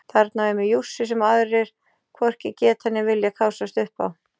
Þarna á ég mér jússu sem aðrir hvorki geta né vilja kássast upp á.